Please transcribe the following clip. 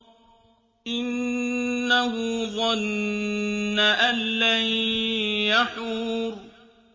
إِنَّهُ ظَنَّ أَن لَّن يَحُورَ